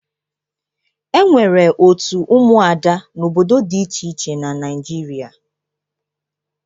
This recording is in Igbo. E nwere òtù ụmụada n'obodo dị iche iche na Naịjirịa.